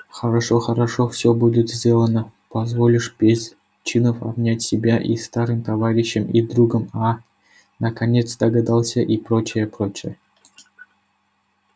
хорошо хорошо всё будет сделано позволишь без чинов обнять себя и старым товарищем и другом а наконец догадался и прочая прочая